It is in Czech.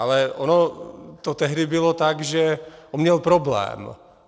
Ale ono to tehdy bylo tak, že on měl problém.